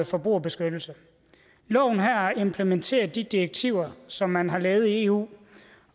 forbrugerbeskyttelse loven her implementerer de direktiver som man har lavet i eu